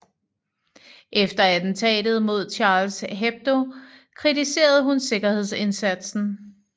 Efter attentatet mod Charles Hebdo kritiserede hun sikkerhedsindsatsen